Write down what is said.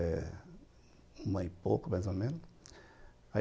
Eh, uma e pouco, mais ou menos.